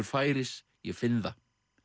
færis ég finn það